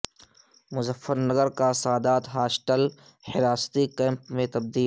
مظفر نگر کا سادات ہاسٹل حراستی کیمپ میں تبدیل